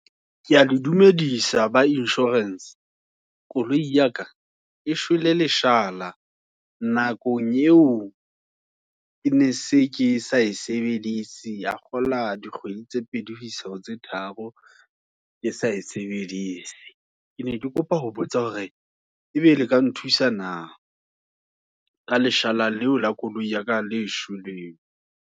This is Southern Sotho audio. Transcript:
Keya le dumedisa, ba insurance, koloi ya ka, e shwele leshala, nakong eo, ke ne se ke sa e sebeditse, ka kgolwa dikgwedi, tse pedi hoisa ho tse tharo, ke sa e sebedise. Ke ne ke kopa ho botsa hore, ebe le ka nthusa naah, ka leshala le o la koloi ya ka leshweleng.